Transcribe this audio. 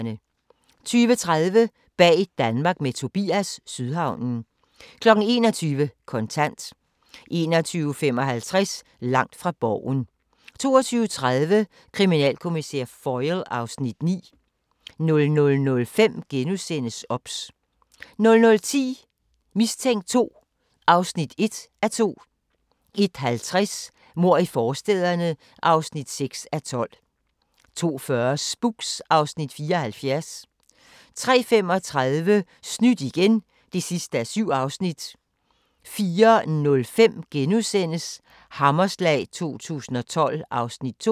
20:30: Bag Danmark med Tobias – Sydhavnen 21:00: Kontant 21:55: Langt fra Borgen 22:30: Kriminalkommissær Foyle (Afs. 9) 00:05: OBS * 00:10: Mistænkt 2 (1:2) 01:50: Mord i forstæderne (6:12) 02:40: Spooks (Afs. 74) 03:35: Snydt igen (7:7) 04:05: Hammerslag 2012 (Afs. 2)*